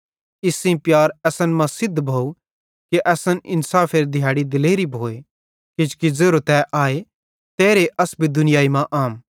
इस सेइं प्यार असन मां सिद्ध भोव कि असन इन्साफेरे दिहैड़ी दिलेरी भोए किजोकि ज़ेरो तै आए तेरे अस भी दुनिया मां अहम